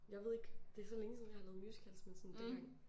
Jeg ved ikke. Det er så længe siden jeg har lavet musicals men sådan dengang